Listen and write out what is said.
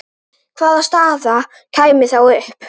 Hvaða staða kæmi þá upp?